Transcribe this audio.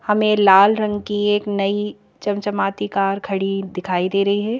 हमें लाल रंग की एक नई चमचमाती कार खड़ी दिखाई दे रही है।